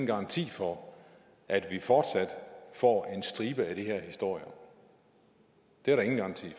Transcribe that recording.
garanti for at vi ikke fortsat får en stribe af de her historier det er der ingen garanti